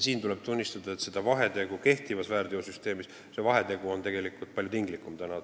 Tuleb tunnistada, et see vahetegemine on kehtivas väärteosüsteemis tegelikult palju tinglikum.